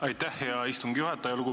Aitäh, hea istungi juhataja!